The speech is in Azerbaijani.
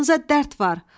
Canınıza dərd var.